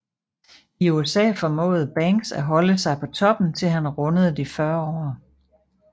I USA formåede Banks at holde sig på toppen til han rundede de 40 år